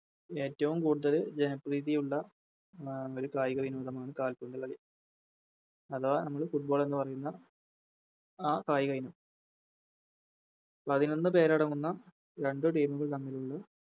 ഏറ്റോം കൂടുതല് ജനപ്രീതിയുള്ള കായിക ഇനമാണ് കാൽപ്പന്ത് കളി അധവാ നമ്മള് Football എന്ന് പറയുന്ന ആ കായികയിനം പതിനൊന്ന് പേരടങ്ങുന്ന രണ്ട് Team ഉകൾ തമ്മിലുള്ള